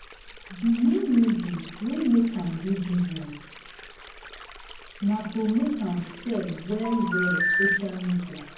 the main reason wey make am do bussines na to make am sell well well social media